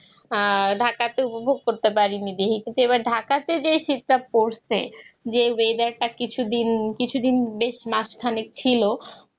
ঢাকাতে অনুভব করতে পারিনি যেহেতু ঢাকাতে যে সেটটা পরছে যেই Weather কিছুদিন বেশ মাঝখানে ছিল